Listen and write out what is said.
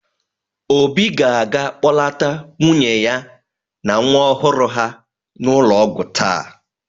Obi ga-aga kpọlata nwunye ya na nwa ọhụrụ ha n'ụlọ ọgwụ taa.